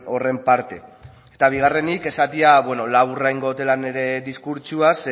horren parte eta bigarrenik esatea beno laburra egingo dudala nire diskurtsoa